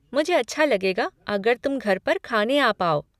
मुझे अच्छा लगेगा अगर तुम घर पर खाने आ पाओ।